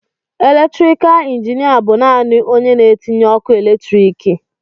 Elektrikal injinịa bụ naanị onye na-etinye ọkụ eletriki.